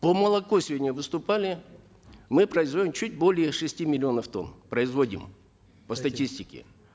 по молоку сегодня выступали мы производим чуть более шести миллионов тонн производим по статистике